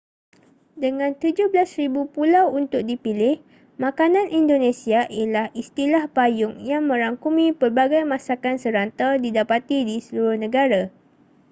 dengan 17,000 pulau untuk dipilih makanan indonesia ialah istilah payung yang merangkumi pelbagai masakan serantau didapati di seluruh negara